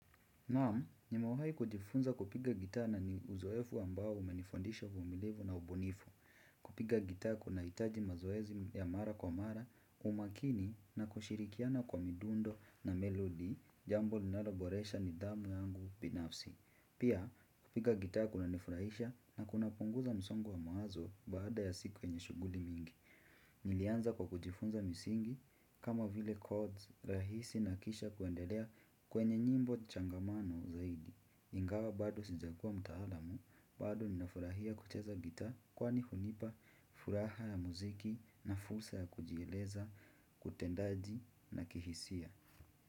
Naam nimewahi kujifunza kupiga gitaa na ni uzoefu ambao umenifundisha uvumilivu na ubunifu. Kupiga gitaa kuna hitaji mazoezi ya mara kwa mara umakini na kushirikiana kwa midundo na melodi. Jambo linaloboresha nidhamu yangu binafsi. Pia, kupiga gitaa kuna nifurahisha na kunapunguza msongo wa mawazo baada ya siku yenye shughuli mingi. Nilianza kwa kujifunza misingi kama vile chords rahisi na kisha kuendelea kwenye nyimbo changamano zaidi. Ingawa bado sijakuwa mtaalamu, bado ninafurahia kucheza gitaa kwani hunipa furaha ya muziki na fursa ya kujieleza, kutendaji na kihisia.